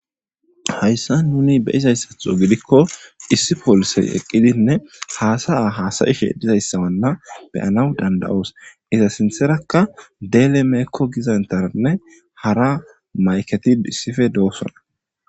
hayssa nuni be izayssatho gidikko issi poolisey eqqidinne haasaya haasayishe dizayssawanna beyanaw danda7oos iza sintherakka deele meekko gizantaranne hara mayketid issife doossona